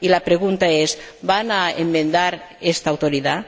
Y la pregunta es ¿van a enmendar esta Autoridad?